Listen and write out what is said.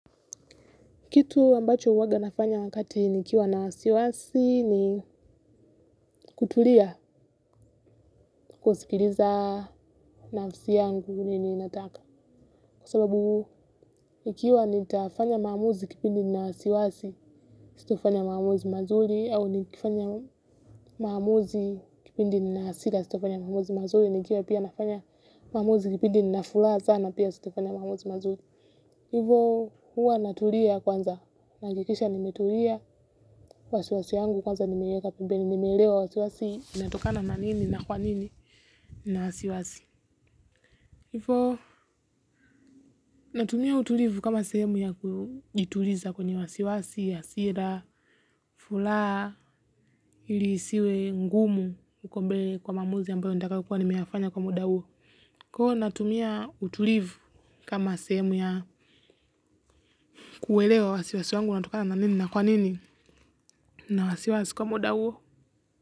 Kitu ambacho huwaganafanya wakati nikiwa na wasiwasi ni kutulia kusikiliza nafsi yangu nini inataka. Kwa sababu nikiwanitafanya maamuzi kipindi nina wasiwasi sitafanya maamuzi mazuri au nikifanya maamuzi kipindi ninahasira sitafanya maamuzi mazuri nikiwa pia nafanya maamuzi kipindi na furaha salna pia sitafanya maamuzi mazuri. Hivo huwa natulia kwanza, nahakikisha nimetulia wasiwasi wangu kwanza nimeweka pembeni, nimeelewa wasiwasi, inatokana na nini na kwanini na wasiwasi. Hivyo natumia utulivu kama sehemu ya kujituliza kwenye wasiwasi, hasira, furaha ili isiwe, ngumu, huko mbele kwa maamuzi ambayo nitakayokuwa nimeyafanya kwa muda huo. Huwa natumia utulivu kama sehemu ya kuelewa wasiwasi wangu unatokana na nini na kwanini. Na wasiwasi kwa muda huo.